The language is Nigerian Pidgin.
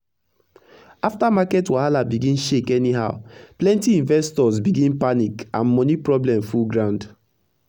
afta market wahala begin shake anyhowplenty investors begin panic and moni problem full ground